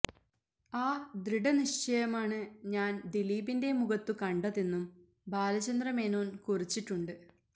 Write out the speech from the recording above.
ആ ദൃഢ നിശ്ചയമാണ് ഞാൻ ദിലീപിന്റെ മുഖത്തു കണ്ടതെന്നും ബാലചന്ദ്രമേനോന് കുറിച്ചിട്ടുണ്ട്